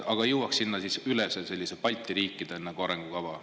Aga jõuaks sinna siis üle sellise Balti riikide nagu arengukava.